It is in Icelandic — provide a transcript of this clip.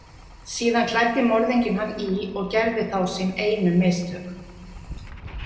Síðan klæddi morðinginn hann í og gerði þá sín einu mistök.